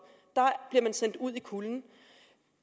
man bliver sendt ud i kulden